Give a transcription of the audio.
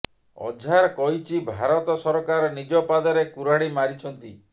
ଅଝାର କହିଛି ଭାରତ ସରକାର ନିଜ ପାଦରେ କୁରାଢ଼ୀ ମାରିଛନ୍ତି